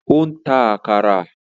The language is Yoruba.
Ó ń ta “àkàrà”.